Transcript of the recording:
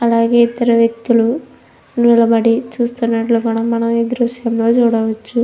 అలాగే ఇద్దరు వ్యక్తులు నిలబడి చూస్తునట్లు మనం మనం ఈ దృశ్యంలో చూడవచ్చు --